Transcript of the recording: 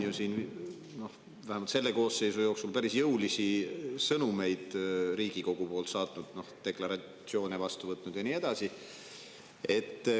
Eesti on vähemalt selle koosseisu jooksul ju päris jõulisi sõnumeid Riigikogust välja saatnud, deklaratsioone vastu võtnud ja nii edasi.